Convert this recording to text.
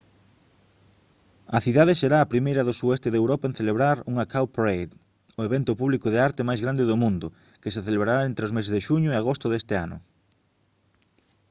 a cidade será a primeira do sueste de europa en celebrar unha cowparade o evento público de arte máis grande do mundo que se celebrará entres os meses de xuño e agosto este ano